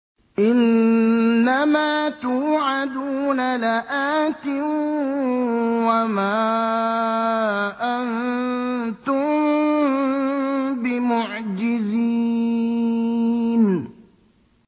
إِنَّ مَا تُوعَدُونَ لَآتٍ ۖ وَمَا أَنتُم بِمُعْجِزِينَ